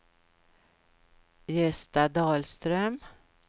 Gösta Dahlström